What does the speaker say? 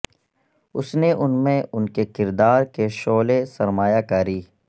اس نے ان میں ان کے کردار کے شعلے سرمایہ کاری